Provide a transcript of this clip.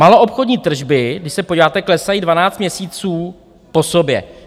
Maloobchodní tržby, když se podíváte, klesají 12 měsíců po sobě.